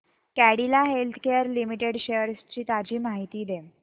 Cadila Healthcare Limited shares ची ताजी माहिती दे